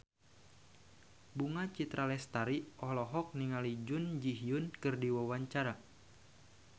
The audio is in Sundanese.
Bunga Citra Lestari olohok ningali Jun Ji Hyun keur diwawancara